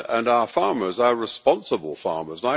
Our farmers are responsible farmers.